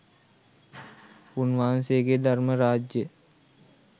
උන්වහන්සේ ගේ ධර්ම රාජ්‍යය